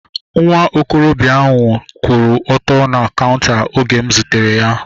Nwa okorobịa ahu kwụ ọtọ na kaunta oge m zutere ya